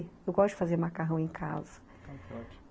Eu gosto de fazer macarrão em casa.